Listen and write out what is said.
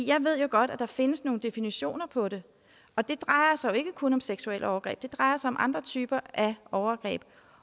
jeg ved jo godt at der findes nogle definitioner på det og det drejer sig ikke kun om seksuelle overgreb det drejer sig også om andre typer af overgreb